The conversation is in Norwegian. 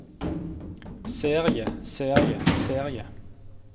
serie serie serie